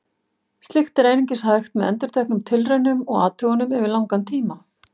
Slíkt er einungis hægt með endurteknum tilraunum og athugunum yfir langan tíma.